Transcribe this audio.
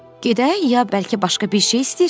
Gedək ya bəlkə başqa bir şey istəyirsən?